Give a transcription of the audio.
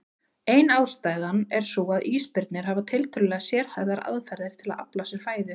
Ein ástæðan er sú að ísbirnir hafa tiltölulega sérhæfðar aðferðir til að afla sér fæðu.